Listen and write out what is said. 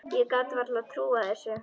Ég gat vart trúað þessu.